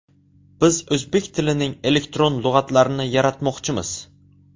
Biz o‘zbek tilining elektron lug‘atlarini yaratmoqchimiz.